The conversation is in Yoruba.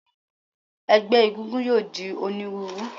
Ẹgbẹ́ egúngún yóò di onírúurú.